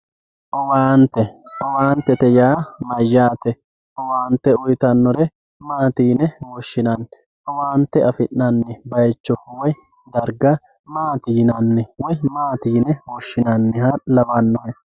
Owaante, owaantete yaa mayyate, owaante uuyitanore maati yine woshinanni, owaante afinanni bayicho woyi dariga maati yinanni woyi maati yine woshinanniha lawanohe?